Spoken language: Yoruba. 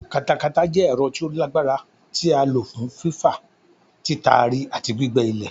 Katakata jẹ́ ẹ̀rọ tí ó lágbára tí a lò fún fífà, títari àti gbígbẹ́ ilẹ̀.